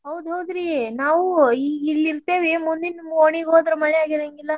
ಹೌದ್ ಹೌದ್ರಿ ನಾವು ಈಗಿಲ್ಲೆ ಇರ್ತೇವಿ. ಮುಂದಿನ್ ಓಣಿಗೆ ಹೋದ್ರ್ ಮಳಿ ಆಗಿರಂಗಿಲ್ಲ.